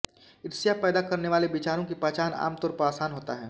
ईर्ष्या पैदा करने वाले विचारों की पहचान आमतौर पर आसान होता है